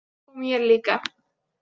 Og mér líka.